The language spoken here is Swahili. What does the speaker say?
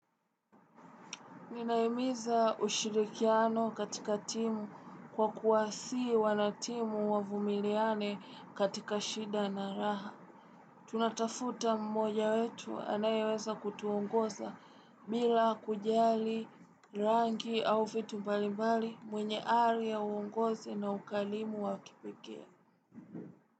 Ninahimiza ushirikiano katika timu kwa kuwasihi wanatimu wavumiliane katika shida na raha. Tunatafuta mmoja wetu anayeweza kutuongoza bila kujali, rangi au vitu mbalimbali mwenye ari ya uongozi na ukarimu wa kipekee.